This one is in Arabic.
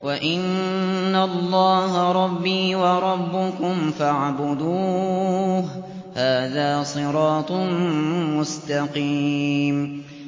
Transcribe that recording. وَإِنَّ اللَّهَ رَبِّي وَرَبُّكُمْ فَاعْبُدُوهُ ۚ هَٰذَا صِرَاطٌ مُّسْتَقِيمٌ